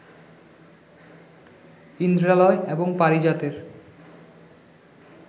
ইন্দ্রালয় এবং পারিজাতের